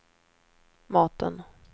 maten